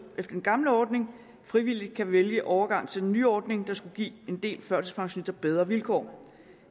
efter den gamle ordning frivilligt kan vælge overgang til den nye ordning der skulle give en del førtidspensionister bedre vilkår